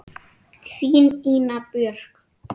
Þín, Ína Björk.